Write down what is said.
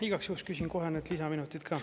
Igaks juhuks küsin kohe need lisaminutid ka.